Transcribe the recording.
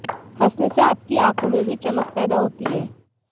हंसने से आपकी आंखों में भी चमक पैदा होती है